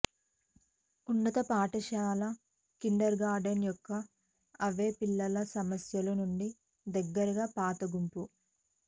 ఉన్నత పాఠశాల kindergarten యొక్క అవే పిల్లల సమస్యలు నుండి దగ్గరగా పాత గుంపు